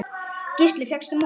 Gísli: Fékkstu mjólk?